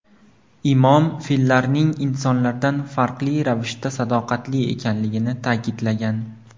Imom, fillarning insonlardan farqli ravishda sadoqatli ekanligini ta’kidlagan.